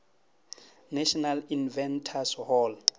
national inventors hall